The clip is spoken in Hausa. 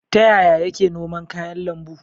Ta yaya yake noman kayan lambu?